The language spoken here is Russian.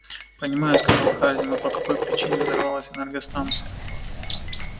понимаю сказал хардин но по какой причине взорвалась энергостанция